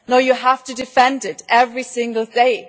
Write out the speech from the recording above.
No, you have to defend it every single day.